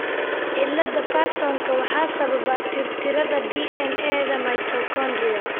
cillada Pearsonka waxaa sababa tirtirida DNA-da mitochondrial.